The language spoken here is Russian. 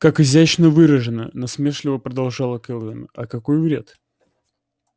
как изящно выражено насмешливо продолжала кэлвин а какой вред